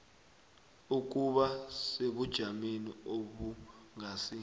ukuba sebujameni obungasi